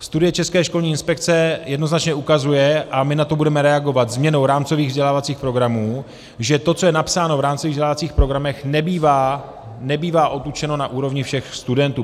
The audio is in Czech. Studie České školní inspekce jednoznačně ukazuje, a my na to budeme reagovat změnou rámcových vzdělávacích programů, že to, co je napsáno v rámcových vzdělávacích programech, nebývá odučeno na úrovni všech studentů.